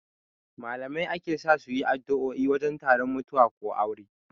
Malamai ake sa suyi addo'o'i wajen taron mutuwa ko aure